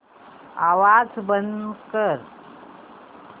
आवाज बंद कर